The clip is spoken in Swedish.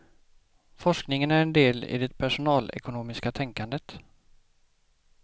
Forskningen är en del i det personalekonomiska tänkandet.